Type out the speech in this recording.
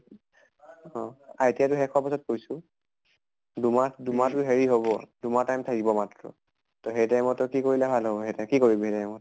অহ ITI ট শেষ হোৱাৰ পাছত কৈছো। দুমাহ দুমাহ টো হেৰি হʼব, দুমাহ time থাকিব মাত্ৰ। ত সেই time ত কি কৰিলে ভাল হʼব কি কৰিবি সেই সময়ত?